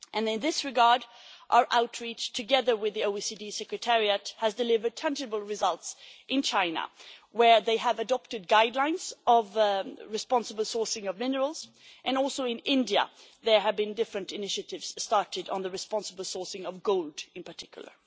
In this regard, our outreach, together with the OECD secretariat, has delivered tangible results in China, where they have adopted guidelines on the responsible sourcing of minerals, and also in India, where there have been various initiatives launched on the responsible sourcing of gold, in particular.